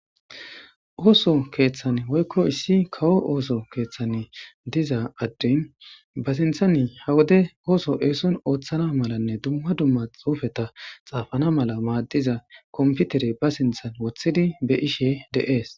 ooso keeththan woykko issi kawo ooso keeththan diza adey ba sinthani ha wode ooso eeson ooththana malanne dumma dumma xuufeta xaafana mala maaddiza komputere ba sinthan wothidi be'ishe de'ees